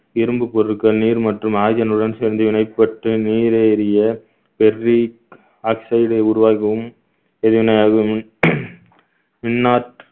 இரும்புப் பொருட்கள் நீர் மற்றும் oxygen னுடன் சேர்ந்து வினைப்பட்டு நீரை எரிய ferric oxide உ உருவாகவும் எரிவினையாகவும் இன்னார்